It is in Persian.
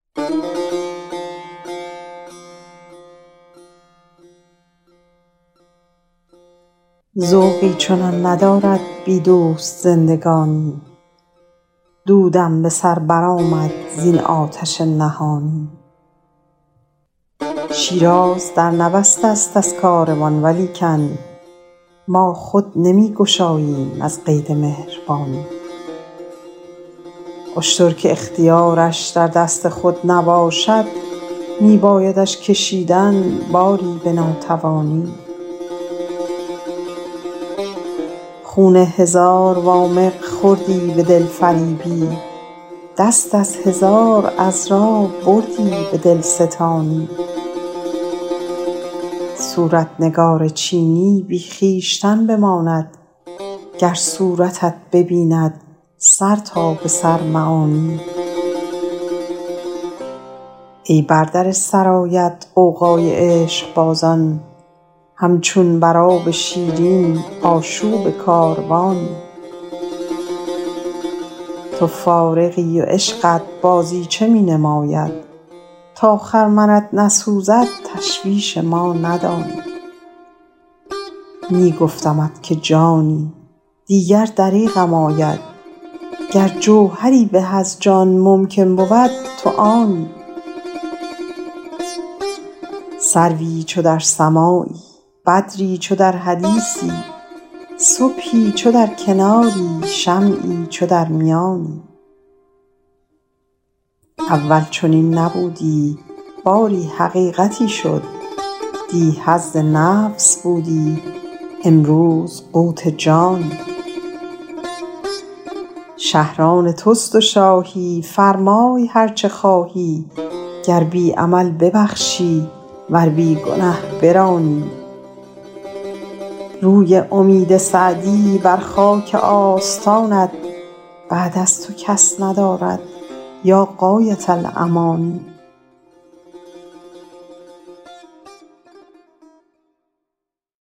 ذوقی چنان ندارد بی دوست زندگانی دودم به سر برآمد زین آتش نهانی شیراز در نبسته ست از کاروان ولیکن ما را نمی گشایند از قید مهربانی اشتر که اختیارش در دست خود نباشد می بایدش کشیدن باری به ناتوانی خون هزار وامق خوردی به دلفریبی دست از هزار عذرا بردی به دلستانی صورت نگار چینی بی خویشتن بماند گر صورتت ببیند سر تا به سر معانی ای بر در سرایت غوغای عشقبازان همچون بر آب شیرین آشوب کاروانی تو فارغی و عشقت بازیچه می نماید تا خرمنت نسوزد تشویش ما ندانی می گفتمت که جانی دیگر دریغم آید گر جوهری به از جان ممکن بود تو آنی سروی چو در سماعی بدری چو در حدیثی صبحی چو در کناری شمعی چو در میانی اول چنین نبودی باری حقیقتی شد دی حظ نفس بودی امروز قوت جانی شهر آن توست و شاهی فرمای هر چه خواهی گر بی عمل ببخشی ور بی گنه برانی روی امید سعدی بر خاک آستان است بعد از تو کس ندارد یا غایة الامانی